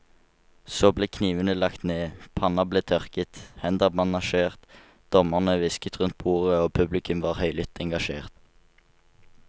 Så ble knivene lagt ned, panner ble tørket, hender bandasjert, dommerne hvisket rundt bordet og publikum var høylytt engasjert.